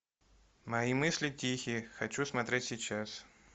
мои мысли тихие хочу смотреть сейчас